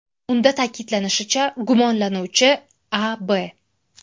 Unda ta’kidlanishicha, gumonlanuvchi A.B.